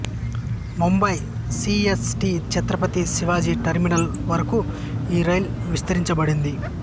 Mumbai C S T Chhatrapati Shivaji terminal వరకు ఈ రైలు విస్తరించబడింది